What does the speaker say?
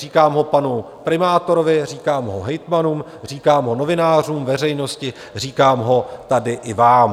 Říkám ho panu primátorovi, říkám ho hejtmanům, říkám ho novinářům, veřejnosti, říkám ho tady i vám.